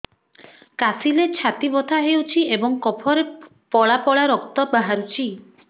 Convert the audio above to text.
କାଶିଲେ ଛାତି ବଥା ହେଉଛି ଏବଂ କଫରେ ପଳା ପଳା ରକ୍ତ ବାହାରୁଚି